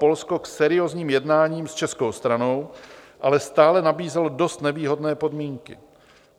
Polsko k seriózním jednáním s českou stranou, ale stále nabízelo dost nevýhodné podmínky.